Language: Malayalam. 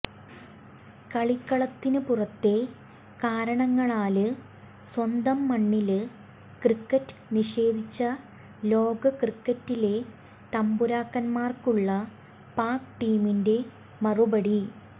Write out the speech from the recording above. കളിക്കളത്തിന് പുറത്തെ കാരണങ്ങളാല് സ്വന്തം മണ്ണില് ക്രിക്കറ്റ് നിഷേധിച്ച ലോക ക്രിക്കറ്റിലെ തമ്പുരാക്കന്മാര്ക്കുള്ള പാക് ടീമിന്റെ മറുപടി